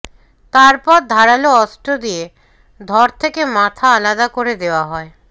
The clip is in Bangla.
তারপর ধারাল অস্ত্র দিয়ে ধড় থেকে মাথা আলাদা করে দেওয়া হয়